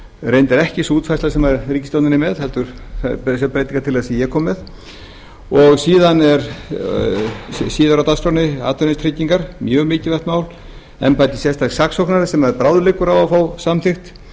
reyndar ekki sú útfærsla sem ríkisstjórnin er með heldur þessi breytingartillaga sem ég kom með og síðar er á dagskránni atvinnutryggingar mjög mikilvægt mál embætti sérstaks saksóknara sem bráðliggur á að fá